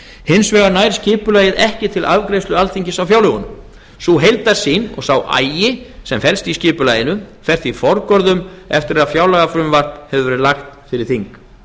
hins vegar nær skipulagið ekki til afgreiðslu alþingis á fjárlögum sú heildarsýn og sá agi sem felst í skipulaginu fer því forgörðum eftir að fjárlagafrumvarp hefur verið lagt fyrir þing